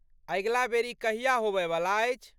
अगिला बेर ई कहिया होअयवला अछि?